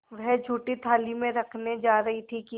वह जूठी थाली में रखने जा रही थी कि